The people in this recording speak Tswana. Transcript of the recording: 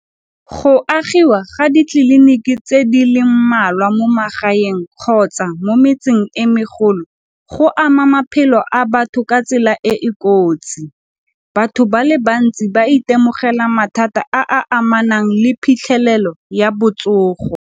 Go agiwa ga ditleliniki tse di le mmalwa mo magaeng kgotsa mo metseng e megolo go ama maphelo a batho ka tsela e e kotsi. Batho ba le bantsi ba itemogela mathata a a amanang le phitlhelelo ya botsogo.